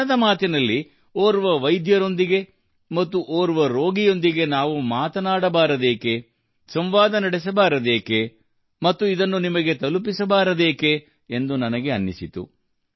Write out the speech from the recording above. ಮನದ ಮಾತಿನಲ್ಲಿ ಓರ್ವ ವೈದ್ಯರೊಂದಿಗೆ ಮತ್ತು ಓರ್ವ ರೋಗಿಯೊಂದಿಗೆ ನಾವು ಮಾತನಾಡಬಾರದೇಕೆ ಸಂವಾದ ನಡೆಸಬಾರದೇಕೇ ಮತ್ತು ಇದನ್ನು ನಿಮಗೆ ತಲುಪಿಸಬಾರದೇಕೆ ಎಂದು ನನಗೆ ಅನಿಸಿತು